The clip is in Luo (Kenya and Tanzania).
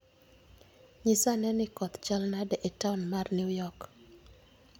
Nyisa ane ni koth chal nade e taon mar New York